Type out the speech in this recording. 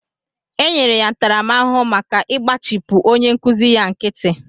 Enyere ya ntaramahụhụ maka igbachipu onye nkụzi ya nkịtị